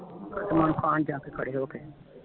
ਖਸਮਨੋ ਖਾਣ ਜਾ ਕੇ ਖੜੇ ਹੋ ਕੇ